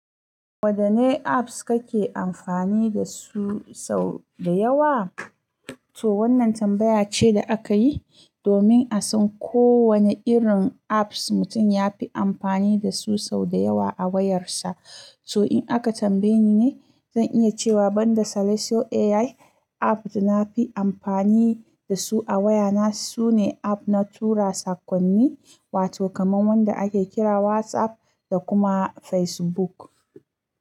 Wadanne apps kake amfani da su sau da yawa? Toh wannan tambaya ce da aka yi, domin a san ko wane irin apps mutum ya fi amfani da su sau da yawa a wayarsa. To in aka tambaye ni ne, zan iya cewa banda Selecio AI app da na fi amfani da su a waya na, sune app na tura sakonni, wato kamar wanda ake kira WhatsApp da kuma Facebook.